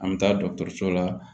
An bɛ taa dɔgɔtɔrɔso la